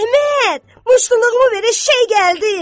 Əhməd, muştuluğumu ver, eşşək gəldi!